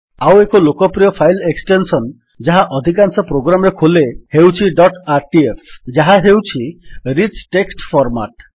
ଆଉ ଏକ ଲୋକପ୍ରିୟ ଫାଇଲ୍ ଏକ୍ସଟେନ୍ସନ୍ ଯାହା ଅଧିକାଂଶ ପ୍ରୋଗ୍ରାମ୍ ରେ ଖୋଲେ ହେଉଛି ଡଟ୍ ଆରଟିଏଫ୍ ଯାହା ହେଉଛି ରିଚ୍ ଟେକ୍ସଟ୍ ଫର୍ମାଟ୍